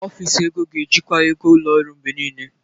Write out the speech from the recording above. Ọfịs ego ga-ejikwa ego ụlọ ọrụ mgbe niile.